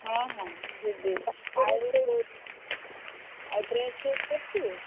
ହଁ ହଁ ଯିବି ଆଉ dress ଫ୍ରେସ୍ କରିଛୁ?